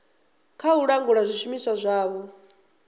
kha u langula zwishumiswa zwavho